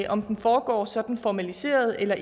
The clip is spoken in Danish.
om den foregår sådan formaliseret eller